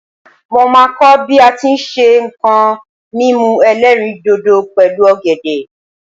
mo ma ko bi a ti n se nko mímu elerindodo pẹlu ògèdè